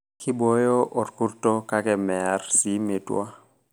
Keiboyo orkurto kake meyar sii metwa.